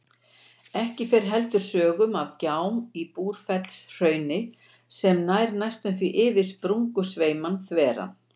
Ekki fer heldur sögum af gjám í Búrfellshrauni sem nær næstum því yfir sprungusveiminn þveran.